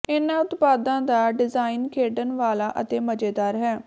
ਇਨ੍ਹਾਂ ਉਤਪਾਦਾਂ ਦਾ ਡਿਜ਼ਾਈਨ ਖੇਡਣ ਵਾਲਾ ਅਤੇ ਮਜ਼ੇਦਾਰ ਹੈ